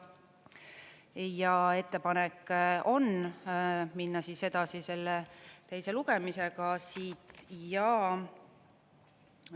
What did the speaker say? Ja ettepanek on minna edasi selle teise lugemisega ja …